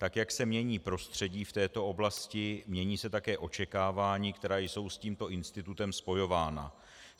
Tak jak se mění prostředí v této oblasti, mění se také očekávání, která jsou s tímto institutem spojována.